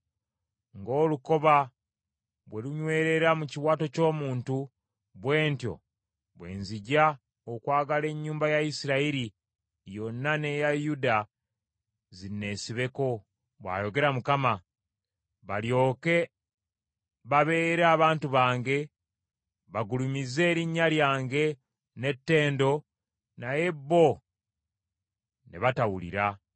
Ng’olukoba bwe lunywerera mu kiwato ky’omuntu, bwe ntyo bwe nzija okwagala ennyumba ya Isirayiri yonna n’eya Yuda zinneesibeko,’ bw’ayogera Mukama , ‘balyoke babeere abantu bange, bagulumize erinnya lyange n’ettendo; naye bo ne batawulira.’ ”